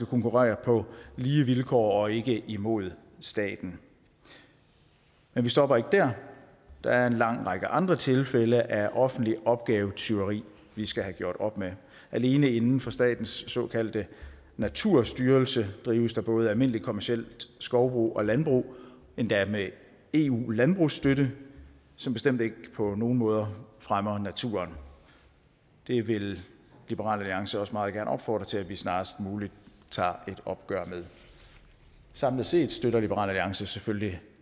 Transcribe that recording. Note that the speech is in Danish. konkurrere på lige vilkår og ikke imod staten men vi stopper ikke dér der er en lang række andre tilfælde af offentligt opgavetyveri vi skal have gjort op med alene inden for statens såkaldte naturstyrelse drives der både almindeligt kommercielt skovbrug og landbrug endda med eu landbrugsstøtte som bestemt ikke på nogen måder fremmer naturen det vil liberal alliance også meget gerne opfordre til at vi snarest muligt tager et opgør med samlet set støtter liberal alliance selvfølgelig